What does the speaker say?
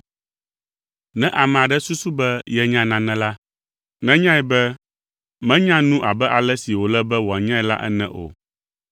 Ne ame aɖe susu be yenya nane la, nenyae be menya nu abe ale si wòle be wòanyae la ene o.